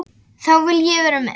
Þá vil ég vera með.